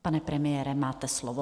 Pane premiére, máte slovo.